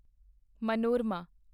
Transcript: Manorama